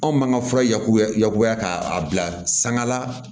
Anw man ka fura yakubaya yakubaya k'a bila sanga